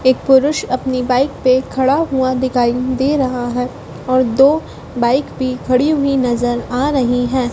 एक पुरुष अपनी बाइक पे खड़ा हुआ दिखाई दे रहा है और दो बाइक भी खड़ी हुई नज़र आ रही हैं।